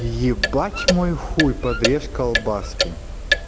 ебать мой хуй подрежь колбаски